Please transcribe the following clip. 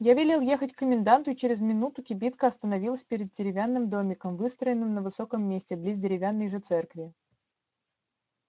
я велел ехать к коменданту и через минуту кибитка остановилась перед деревянным домиком выстроенным на высоком месте близ деревянной же церкви